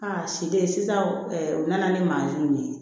siden sisan u nana ni mansin min ye